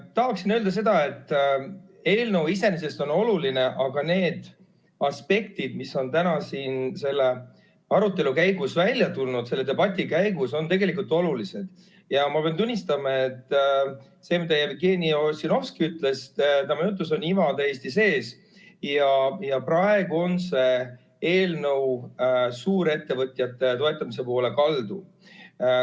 Tahaksin öelda, et eelnõu iseenesest on oluline, aga need aspektid, mis on täna siin selle arutelu käigus välja tulnud, on tegelikult olulised ja ma pean tunnistama, et Jevgeni Ossinovski jutus on iva täiesti sees – praegu on see eelnõu suurettevõtjate toetamise poole kaldu.